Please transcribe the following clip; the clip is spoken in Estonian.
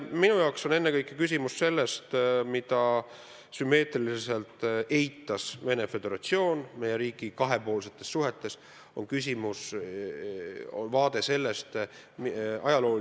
Minu jaoks on praegu ennekõike küsimus vaatenurgas, mida Vene Föderatsioon kahepoolsetes suhetes Eestiga eitas.